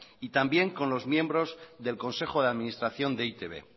y también con los miembros del consejo de administración de e i te be